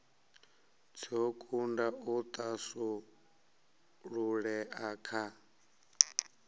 dzo kunda u thasululea kha